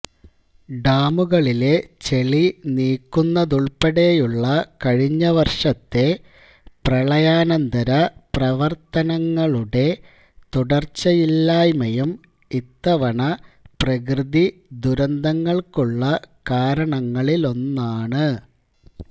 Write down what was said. ഡാമുകളിലെ ചെളി നീക്കുന്നതുൾപ്പെടെയുള്ള കഴിഞ്ഞ വർഷത്തെ പ്രളയാനന്തര പ്രവർത്തനങ്ങളുടെ തുടർച്ചയില്ലായ്മയും ഇത്തവണ പ്രകൃതി ദുരന്തങ്ങൾക്കുള്ള കാരണങ്ങളിലൊന്നാണ്